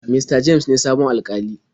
Mista james ne sabon Alkalin.